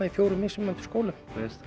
í fjórum mismunandi skólum